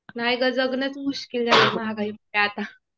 नाही ग. जगणंच मुश्किल झालं महागाई मुळे आता.